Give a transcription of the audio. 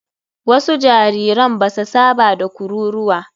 Wasu jariran ba sa saba da kururuwa.